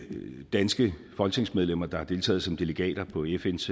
danske folketingsmedlemmer har deltaget som delegater på fns